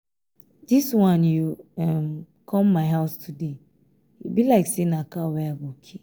dis wan you um come my house today e be like say na cow wey i go kill